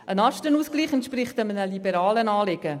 Der Lastenausgleich entspricht einem liberalen Anliegen.